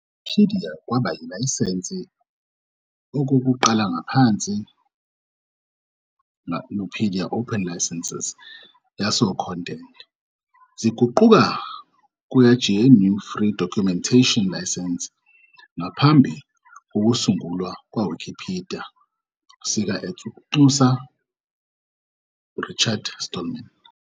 Nupedia kwaba ilayisense okokuqala ngaphansi Nupedia Open License yaso Content, ziguquka kuya GNU Free Documentation License ngaphambi kokusungulwa Wikipedia sika at ukunxusa Richard Stallman.